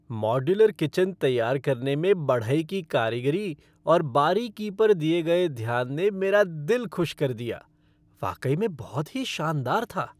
Modular kitchen तैयार करने में बढ़ई की कारीगरी और बारीकी पर दिए गए ध्यान ने मेरा दिल खुश कर दिया। वाकई में बहुत ही शानदार था।